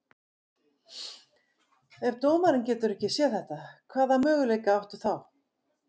Ef dómarinn getur ekki séð þetta, hvaða möguleika áttu þá?